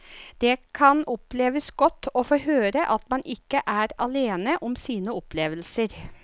Det kan oppleves godt å få høre at man ikke er alene om sine opplevelser.